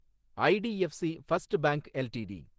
IDFC first bank LTD